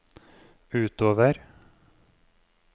utover